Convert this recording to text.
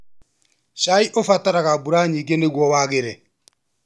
Cai ũbataraga mbura nyingĩ nĩ guo wagĩre.